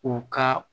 U ka